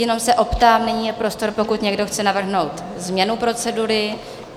Jenom se optám: nyní je prostor, pokud někdo chce navrhnout změnu procedury.